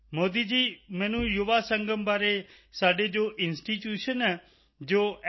ਮੋਦੀ ਜੀ ਮੈਨੂੰ ਯੁਵਾ ਸੰਗਮ ਬਾਰੇ ਸਾਡੇ ਜੋ ਇੰਸਟੀਟਿਊਸ਼ਨ ਹੈ ਜੋ ਐੱਨ